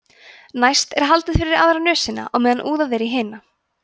næst er haldið fyrir aðra nösina á meðan úðað er í hina